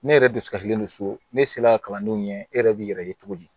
Ne yɛrɛ dusulen don so ne sela kalandenw ɲɛ e yɛrɛ b'i yɛrɛ ye cogo di